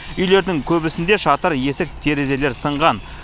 үйлердің көбісінде шатыр есік терезелер сынған